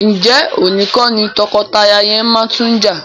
Ǹjẹ́ òní kọ́ ni tọkọtaya yẹn máa tún jà?